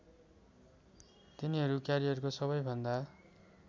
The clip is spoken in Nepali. तिनीहरू क्यारियरको सबैभन्दा